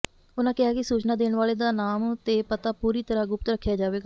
ਉਨ੍ਹਾਂ ਕਿਹਾ ਕਿ ਸੂਚਨਾ ਦੇਣ ਵਾਲੇ ਦਾ ਨਾਮ ਤੇ ਪਤਾ ਪੂਰੀ ਤਰ੍ਹਾਂ ਗੁਪਤ ਰੱਖਿਆ ਜਾਵੇਗਾ